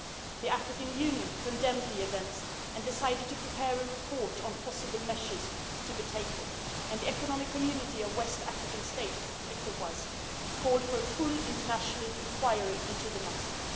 The African Union condemned the events and decided to prepare a report on possible measures to be taken. The Economic Community of West African States called for a full international inquiry into the matter.